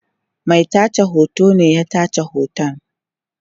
Mai tace hoto ne ya tace hoton